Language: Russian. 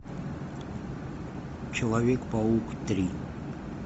человек паук три